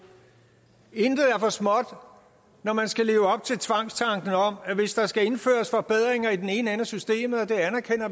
intet er for småt når man skal leve op til tvangstanken om at hvis der skal indføres forbedringer i den ene ende af systemet og